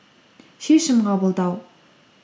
шешім қабылдау